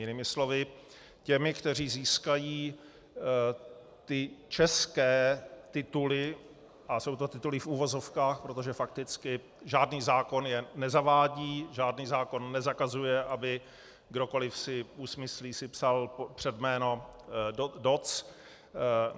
Jinými slovy těmi, kteří získají ty české tituly - a jsou to tituly v uvozovkách, protože fakticky žádný zákon je nezavádí, žádný zákon nezakazuje, aby kdokoli si usmyslí, si psal před jméno doc.